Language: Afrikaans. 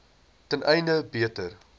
ten einde beter